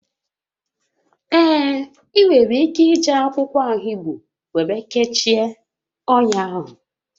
Ee, ị nwere ike iji akwụkwọ ahigbo were kechie ọnya ahụ